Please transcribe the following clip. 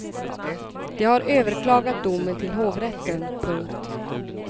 De har överklagat domen till hovrätten. punkt